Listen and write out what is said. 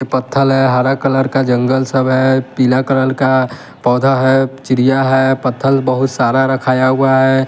पत्थल है हरा कलर का जंगल सब है पीला कलल का पौधा है चिड़िया है पत्थल बहुत सारा रखाया हुआ है।